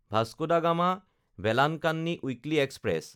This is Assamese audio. Vasco da গামা–ভেলানকান্নি weekly express